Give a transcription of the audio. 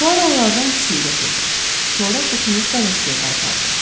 Puaro onlardan ikisini götürdü, sonra qutunu bələdçiyə qaytardı.